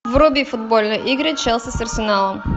вруби футбольные игры челси с арсеналом